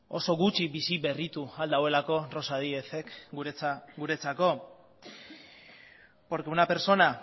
oso gutxi berritu al duelako rosa díez ek guretzako porque una persona